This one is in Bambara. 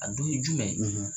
A dɔ ye jumɛn ?